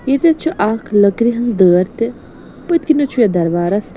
.ییٚتٮ۪تھ چھ اکھ لٔکرِہٕنٛزدٲرتہِ پٔتۍ کِنٮ۪تھ چُھ یتھ دربارس